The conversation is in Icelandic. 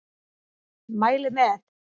Mæli með!